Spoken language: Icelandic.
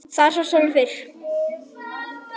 Þar sást sólin fyrr.